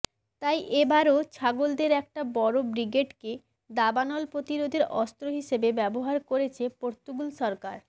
তাই এ বারও ছাগলদের একটা বড় ব্রিগেডকে দাবানল প্রতিরোধের অস্ত্র হিসেবে ব্যবহার করছে পর্তুগাল সরকার